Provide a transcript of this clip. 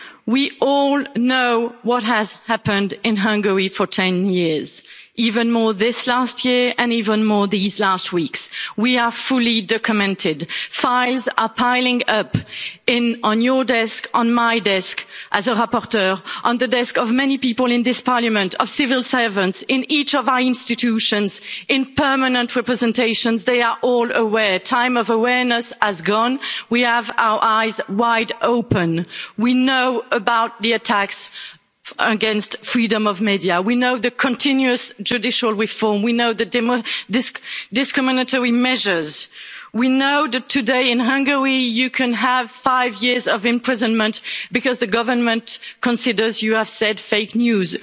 We all know what has happened in Hungary for 10 years. Even more this last year and even more these last weeks. We are fully documented. Files are piling up on your desk, on my desk, as a rapporteur, on the desks of many people in this Parliament, of civil servants, in each of our institutions, in permanent representations. They are all aware time of awareness has gone. We have our eyes wide open. We know about the attacks against freedom of the media. We know about the continuous judicial reform. We know about the discriminatory measures. We know that today in Hungary you can have five years of imprisonment because the government considers you have spread